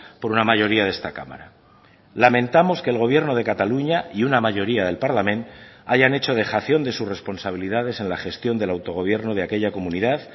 por una mayoría de esta cámara lamentamos que el gobierno de cataluña y una mayoría del parlament hayan hecho dejación de sus responsabilidades en la gestión del autogobierno de aquella comunidad